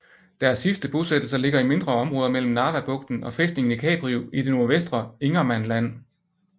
Deres sidste bosættelser ligger i mindre områder mellem Narvabugten og fæstningen i Kaprio i det nordvestre Ingermanland